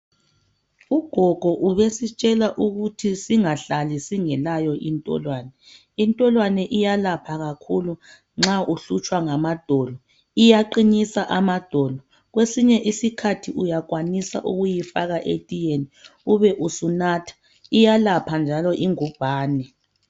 Ugogo ubesitshela ukuthi singahlali singelayo intolwane. Intolwane iyalapha kakhulu nxa uhlutshwa ngamadolo. Iyaqinisa amadolo. Kwesinye isikhathi uyakwanisa ukuyifaka etiyeni ube usunatha. Iyalapha njalo ingubhani